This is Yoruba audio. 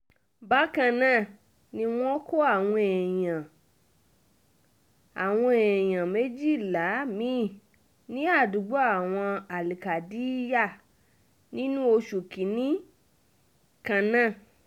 bákan náà ni wọ́n kó àwọn èèyàn àwọn èèyàn méjìlá mi-ín ní àdúgbò àwọn al-kadiyar nínú oṣù kín-ín-ní kan náà